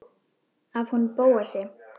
Af honum Bóasi?